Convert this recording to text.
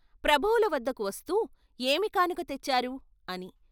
ప్రభువుల వద్దకు వస్తూ ఏమికానుక తెచ్చారు? అని